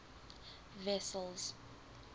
wessels